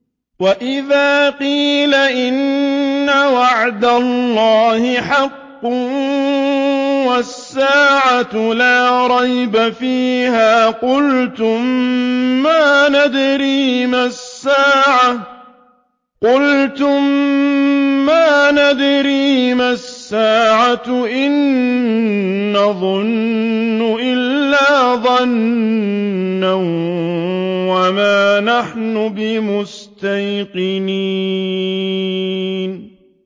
وَإِذَا قِيلَ إِنَّ وَعْدَ اللَّهِ حَقٌّ وَالسَّاعَةُ لَا رَيْبَ فِيهَا قُلْتُم مَّا نَدْرِي مَا السَّاعَةُ إِن نَّظُنُّ إِلَّا ظَنًّا وَمَا نَحْنُ بِمُسْتَيْقِنِينَ